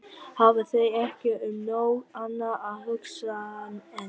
Hafa þeir ekki um nóg annað að hugsa en.